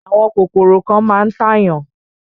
Àwọn kòkòrò kan máa ń tàyàn.